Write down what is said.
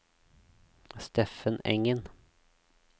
Steffen Engen